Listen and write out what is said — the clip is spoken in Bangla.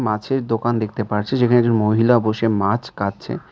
মাছের দোকান দেখতে পারছি যেখানে একজন মহিলা বসে মাছ কাটছে।